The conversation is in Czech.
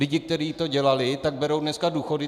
Lidi, kteří to dělali, tak berou dneska důchody.